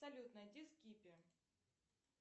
салют найди скиппи